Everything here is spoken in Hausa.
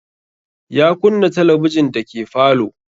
Ya kunna talabijin dake falo